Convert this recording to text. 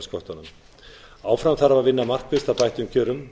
það er þrepasköttunum áfram þarf að vinna markvisst að bættum kjörum